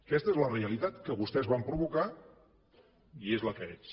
aquesta és la realitat que vostès van provocar i és la que és